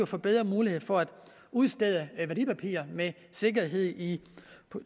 får bedre muligheder for at udstede værdipapirer med sikkerhed i